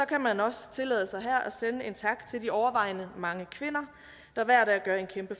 kan man også tillade sig her at sende en tak til de overvejende mange kvinder der hver dag gør en kæmpe